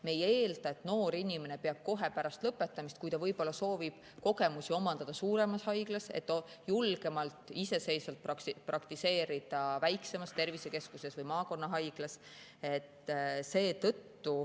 Me ei eelda, et noor inimene peab kohe pärast lõpetamist, ta võib-olla soovib omandada kogemusi suuremas haiglas, et saaks julgemalt iseseisvalt praktiseerida väiksemas tervisekeskuses või maakonnahaiglas.